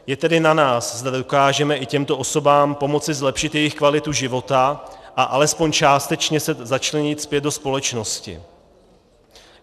Je tedy na nás, zda dokážeme i těmto osobám pomoci zlepšit jejich kvalitu života a alespoň částečně se začlenit zpět do společnosti.